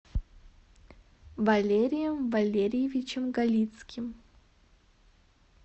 валерием валерьевичем галицким